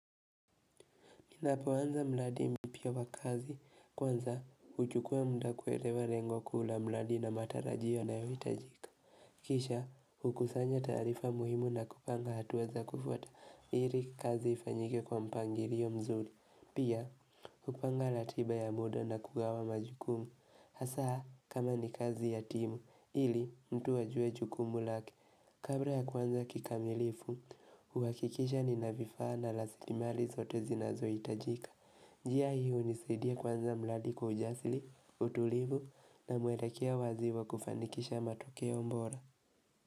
Ninapoanza mradi mpya wa kazi, kwanza uchukua mda kuelewa lengo kuu la mradi na matarajio ninayoitajika. Kisha, hukusanya taarifa muhimu na kupanga hatua za kufuata ili kazi ifanyike kwa mpangilio mzuri. Pia, kupanga ratiba ya muda na kugawa majukumu. Hasaa, kama ni kazi ya timu, ili mtu ajue jukumu lake Kabla ya kwanza kikamilifu, uhakikisha ninavifaa na rasilimali zote zinazohitajika. Njia hii unisidia kwanza mradi kwa ujasili, utulivu na mwelekeo waziwa kufanikisha matokeo bora.